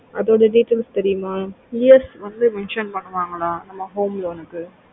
அதுதோட details தெரியுமா உனக்கு ES வந்து mention பண்ணுவாங்களா அந்த home loan கு